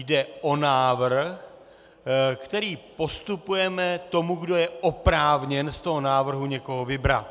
Jde o návrh, který postupujeme tomu, kdo je oprávněn z toho návrhu někoho vybrat.